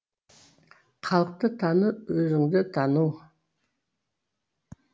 халықты тану өзіңді тану